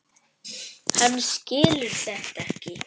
Hann skilur þetta ekki.